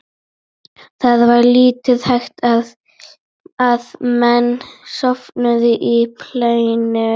Það var lítil hætta á að menn sofnuðu á planinu.